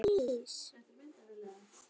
Ég var alls engin rola.